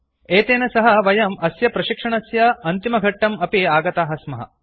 एतेन सह वयम् अस्य प्रशिक्षणस्य अन्तिमघट्टं प्रति आगताः स्मः